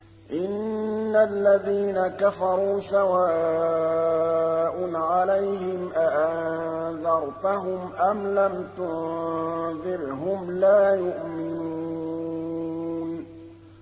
إِنَّ الَّذِينَ كَفَرُوا سَوَاءٌ عَلَيْهِمْ أَأَنذَرْتَهُمْ أَمْ لَمْ تُنذِرْهُمْ لَا يُؤْمِنُونَ